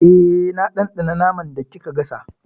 Eh, na ɗanɗana naman da kika gasa.